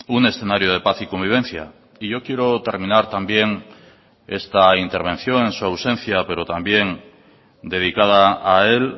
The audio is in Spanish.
un escenario de paz y convivencia y yo quiero terminar también esta intervención en su ausencia pero también dedicada a él